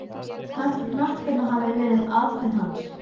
Þjóðlíf er hinn félagslegi þáttur þjóðmenningarinnar.